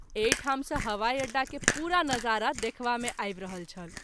एहि ठाम सँ हवाई अड्डा के पूरा नजारा देखवा मे आबि रहल छल।